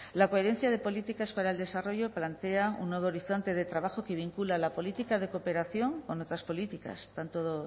la coherencia de políticas para el desarrollo plantea un nuevo horizonte de trabajo que vincula la política de cooperación con otras políticas tanto